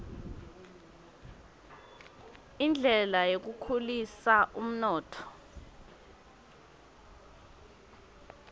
indlela yekukhulisa umnotfo